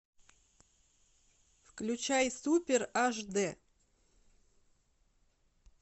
включай супер аш дэ